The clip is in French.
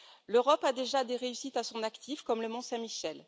L'Europe a déjà des réussites à son actif, comme le Mont Saint Michel.